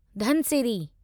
Dhansiri